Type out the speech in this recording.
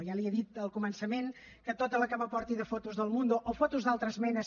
ja li he dit al començament que tota la que me porti de fotos d’el mundo o fotos d’altres menes